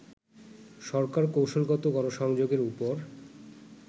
সরকার কৌশলগত গণসংযোগের উপর